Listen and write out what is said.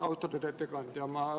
Austatud ettekandja!